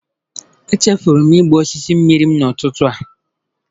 Echefuru m ịgba osisi m mmiri n'ụtụtụ a.